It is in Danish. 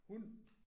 Hun